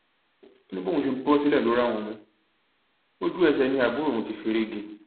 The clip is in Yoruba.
ó ní bóun ṣe bọ sílẹ ló rá òun mú ojú ẹsẹ ni àbúrò òun ti fẹrẹ gé e